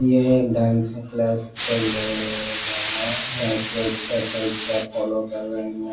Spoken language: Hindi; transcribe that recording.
ये एक डांसिंग क्लास चल रही है जहा लडकिया स्टेप बाय स्टेप फॉलो कर रहे है.